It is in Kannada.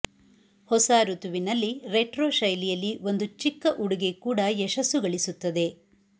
ಹೊಸ ಋತುವಿನಲ್ಲಿ ರೆಟ್ರೊ ಶೈಲಿಯಲ್ಲಿ ಒಂದು ಚಿಕ್ಕ ಉಡುಗೆ ಕೂಡ ಯಶಸ್ಸು ಗಳಿಸುತ್ತದೆ